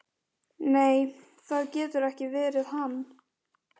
Nei, það getur ekki verið hann.